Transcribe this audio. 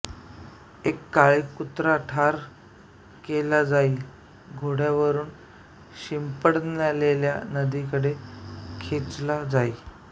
एक काळा कुत्रा ठार केला जाई घोड्यावरुन शिंपडलेल्या नदीकडे खेचला जाई